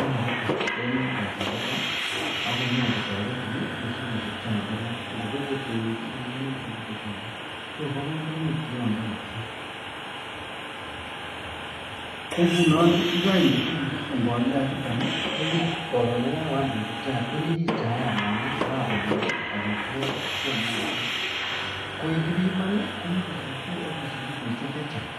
en haraharaka Alan en chakinet akonyobkotaretinbibut chayat inotet anan ko begubkenyit inoni ibute chayat so ba kamanut kiyoton ko ngunon yikainde mbolea ichuton kokaron yikakoyam kebute chaiyat konyikis chayat ngamun kakonyor amitwagik cheyomotin koyekibiman konyikisitun akosich kiloishek chechang